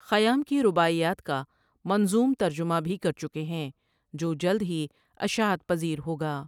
خیام ؔ کی رباعیات کا منظوم ترجمہ بھی کر چُکے ہیں جو جلد ہی اشاعت پذیر ہو گا ۔